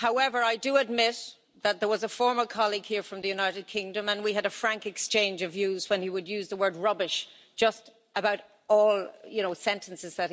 However, I do admit that there was a former colleague here from the United Kingdom and we had a frank exchange of views when he would use the word rubbish' in just about all his sentences.